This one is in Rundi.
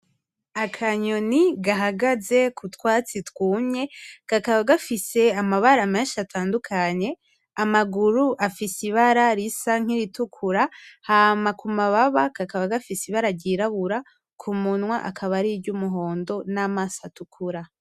Akanyoni gahagaze kutwatsi twumye, kakaba gafise amabara menshi atandukanye, amaguru afise ibara risa nk'iritukura, hama kumababa kakaba gafise ibara ryirabura kumunwa akaba ari iryumuhondo namaso atukura.